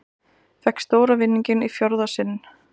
Fékk stóra vinninginn í fjórða sinn